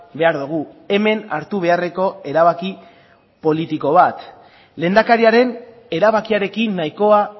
behar dugu hemen hartu beharreko erabaki politiko bat lehendakariaren erabakiarekin nahikoa